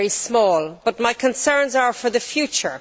They are very small, but my concerns are for the future.